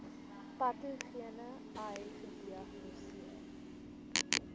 patogene ai gediagnoseer